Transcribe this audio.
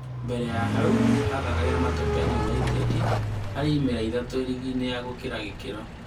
Mbere ya hau athakagĩra Matopeni United harĩ imera ithatũ rigi-inĩ ya gũkĩra ikĩro.